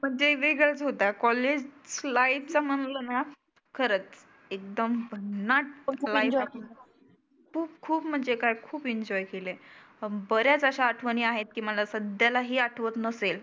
वेग वेगळाच होता कॉलेज लाईफ चं म्हटलं ना खरचं एकदम भन्नाट लाईफ आपली. खुप खुप म्हणजे काय खुप एन्जॉय केले. बर्याच अशा आठवनी आहेत मला सध्याला ही आठवत नसेल.